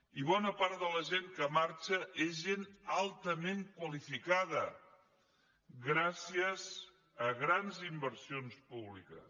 i bona part de la gent que marxa és gent altament qualificada gràcies a grans inversions públiques